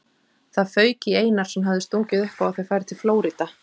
Það fauk í Einar sem hafði stungið upp á að þau færu til Flórída.